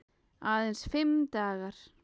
Aðeins fimm dagar.